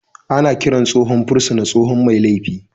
Ana kiran tsohon fursuna tsohon mai laifi